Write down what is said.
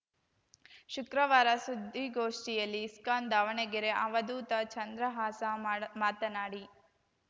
ಶುಕ್ರವಾರ ಸುದ್ದಿಗೋಷ್ಠಿಯಲ್ಲಿ ಇಸ್ಕಾನ್‌ ದಾವಣಗೆರೆ ಅವಧೂತ ಚಂದ್ರಹಾಸ ಮಾಡ ಮಾತನಾಡಿ